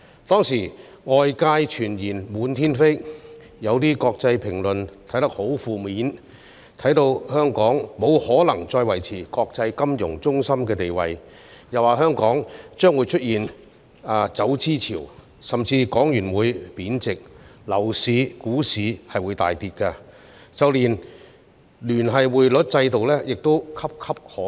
當時，外界謠言滿天飛，有些國際評論很負面，認為香港沒法再維持國際金融中心的地位，又指香港將出現走資潮、港元會貶值、樓市和股市大跌，甚至連聯繫匯率制度亦岌岌可危。